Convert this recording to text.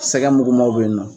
Sɛgɛ mugumanw bɛ yen nɔ